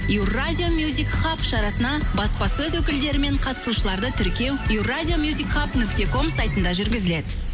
евразия шарасына баспасөз өкілдері мен қатысушыларды тіркеу евразия нүкте ком сайтында жүргізіледі